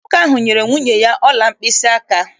Nwoke ahụ nyere nwunye ya ọla mkpịsịaka.